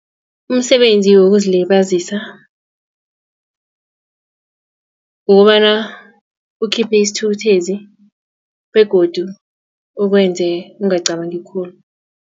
Umsebenzi wokuzilibazisa kukobana ukhiphe isithukuthezi begodu ukwenze ungacabangi khulu.